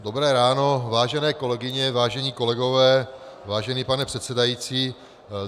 Dobré ráno, vážené kolegyně, vážení kolegové, vážený pane předsedající.